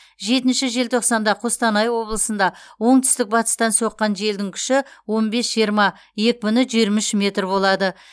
жетінші желтоқсанда қостанай облысында оңтүстік батыстан соққан желдің күші он бес жиырма екпіні жиырма үш метр болады